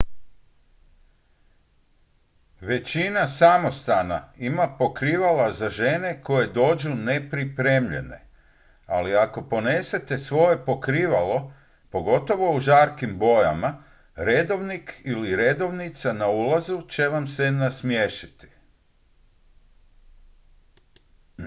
većina samostana ima pokrivala za žene koje dođu nepripremljene ali ako ponesete svoje pokrivalo pogotovo u žarkim bojama redovnik ili redovnica na ulazu će vam se nasmiješiti